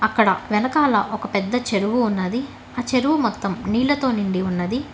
అక్కడ వెనకాల ఒక పెద్ద చెరువు ఉన్నది ఆ చెరువు మొత్తం నీళ్లతో నిండి ఉన్నది.